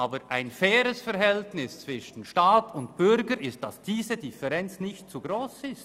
Aber ein faires Verhältnis zwischen Staat und Bürger ist es, wenn diese Differenz nicht zu gross ist.